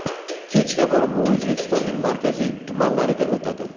Kechga borib u O‘zbekistonning markaziy tumanlariga o‘tadi.